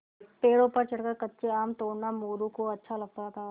पेड़ों पर चढ़कर कच्चे आम तोड़ना मोरू को अच्छा लगता था